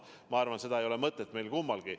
Ma arvan, et seda mõtet ei ole meil kummalgi.